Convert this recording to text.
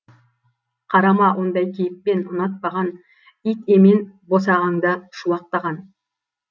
қарама ондай кейіппен ұнатпаған ит емен босағаңда шуақтаған